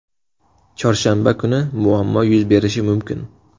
Chorshanba kuni muammo yuz berishi mumkin.